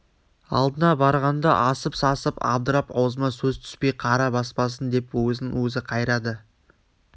алдына барғанда асып-сасып абдырап аузыма сөз түспей қара баспасын деп өзін-өзі қайрады